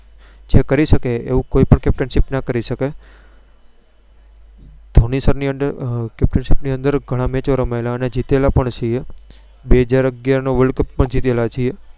જે કરી સકે તેવું પાક્કું કોઈ Captainship ના કરી શકે. ધોની Sir ની Under ગણા Match રમાયેલા ને જીતેલા પણ છીએ બેહજાર અગિયાર નો World Cup જીતેલા પણ છીએ.